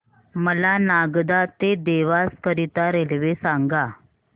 मला नागदा ते देवास करीता रेल्वे सांगा